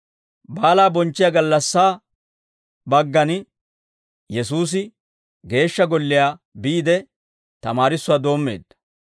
Baalaa bonchchiyaa gallassaa baggan, Yesuusi Geeshsha Golliyaa biide, tamaarissuwaa doommeedda.